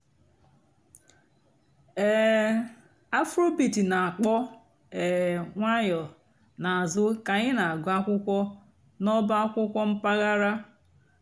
um afróbeat nà-àkpọ́ um ǹwànyọ́ n'àzụ́ kà ànyị́ nà-àgụ́ àkwụ́kwọ́ n'ọ̀bá àkwụ́kwọ́ m̀pàghàrà.